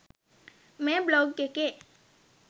මේ බ්ලොග් එකේ